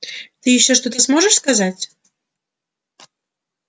ты ещё что-то можешь сказать